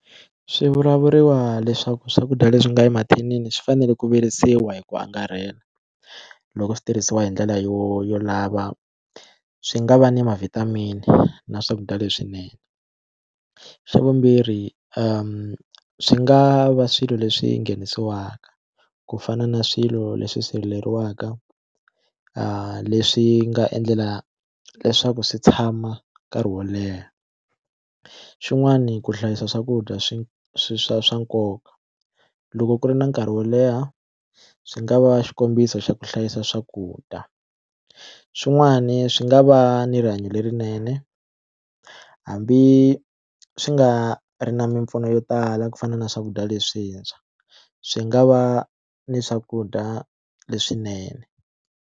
Swi vulavuriwa leswaku swakudya leswi nga emathinini swi fanele ku virisiwa hi ku angarhela loko switirhisiwa hi ndlela yo yo lava swi nga va ni ma vitamin-i na swakudya leswinene xa vumbirhi swi nga va swilo leswi nghenisiwaku ku fana na swilo leswi sirheleriwanga leswi nga endlela leswaku swi tshama nkarhi wo leha xin'wani ku hlayisa swakudya swi swi swa swa nkoka loko ku ri na nkarhi wo leha swi nga va xikombiso xa ku hlayisa swakudya xin'wani swi nga va ni rihanyo lerinene hambi swi nga ri na mimpfuno yo tala ku fana na swakudya leswintshwa swi nga va ni swakudya leswinene.